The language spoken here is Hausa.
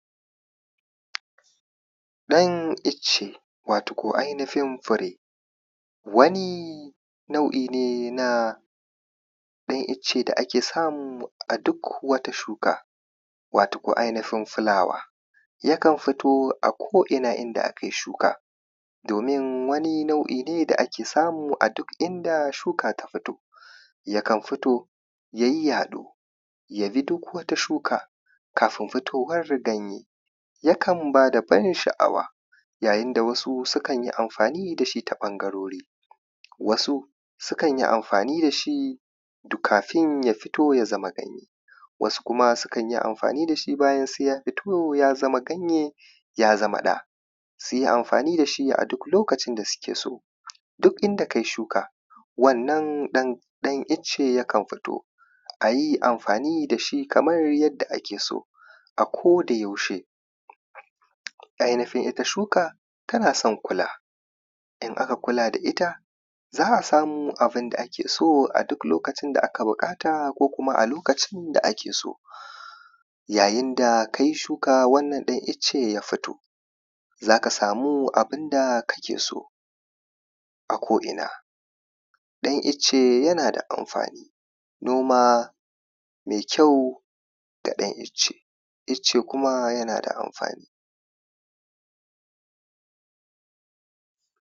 ɗan icce watako ainihin fure wani nau'i ne na ɗan icce da ake samu a duk wata shuka watukun ainihin fulawa yakan futo a ko ina inda akai shuka domin wani nau'i ne da ake samu a duk inda shuka ta fito yakan futo ya yi yaɗo ya bi duk wata shuka kafin fitowan ganye yakan ba da ban sha’awa yayin da wasu sukan amfani da su ta wasu ɓangarori wasu sukan amfani da shi kafin ya fito ya zama ganye wasu kuma sukan yi amfani da shi bayan sai ya fito ya zama ganye ya zama ɗa su yi amfani da shi a duk lokacin da suke so duk inda kai shuka wannan ɗan icce yakan fito a yi amfani da shi kamar yadda ake so a koda yaushe ainihin ita shuka tana son kula in aka kula da ita za a samu abinda ake so a lokacin da aka buƙata ko kuma a lokacin da ake so yayin da kai shuka wannan ɗan icce ya fito za ka samu abinda ake so a ko ina ɗan icce yana da amfani noma mai kyau da ɗan icce icce kuma yana da amfani